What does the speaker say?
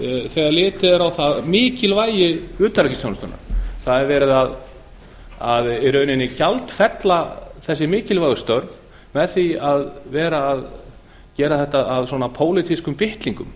þegar litið er á mikilvægi utanríkisþjónustunnar það er verið í rauninni að gjaldfella þessi mikilvægu störf með því að vera að gera þetta að pólitískum bitlingum